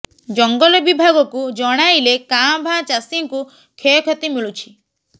ଜଙ୍ଗଲ ବିଭାଗକୁ ଜଣାଇଲେ କାଁ ଭାଁ ଚାଷୀଙ୍କୁ କ୍ଷୟକ୍ଷତି ମିଳୁଛି